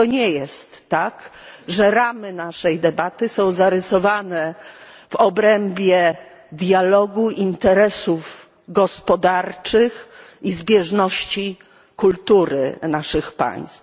I to nie jest tak, że ramy naszej debaty są zarysowane w obrębie dialogu, interesów gospodarczych i zbieżności kultury naszych państw.